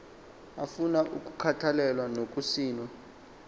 afuna ukukhathalelwa nokugcinwa